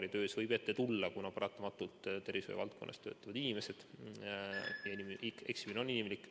Neid võib laboritöös ette tulla, kuna paratamatult tervishoiu valdkonnas töötavad inimesed ja eksimine on inimlik.